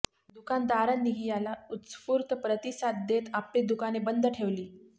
दुकानदारांनीही याला उत्स्फूर्त प्रतिसाद देत आपली दुकाने बंद ठेवली